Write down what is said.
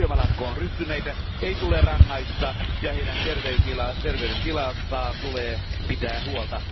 Syömälakkoon ryhtyneitä ei tule rangaista, ja heidän terveydentilastaan tulee pitää huolta.